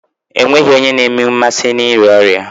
E nweghi onye na-enwe mmasị n'ịrịa ọrịa.